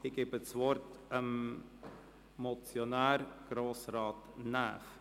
Ich gebe das Wort dem Motionär, Grossrat Näf.